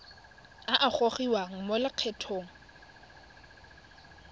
a a gogiwang mo lokgethong